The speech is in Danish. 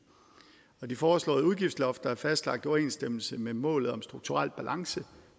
og de foreslåede udgiftslofter er fastlagt i overensstemmelse med målet om strukturel balance